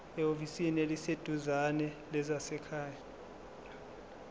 ehhovisi eliseduzane lezasekhaya